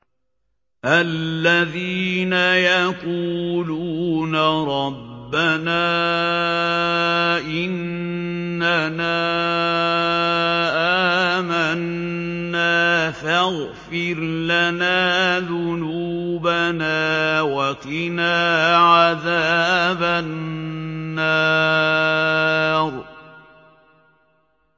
الَّذِينَ يَقُولُونَ رَبَّنَا إِنَّنَا آمَنَّا فَاغْفِرْ لَنَا ذُنُوبَنَا وَقِنَا عَذَابَ النَّارِ